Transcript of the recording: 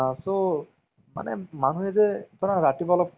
এ বিজয় পা থালপটিৰ কিবা অহ master movies টো চাইছিলে?